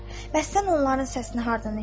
Bəs sən onların səsini hardan eşitdin?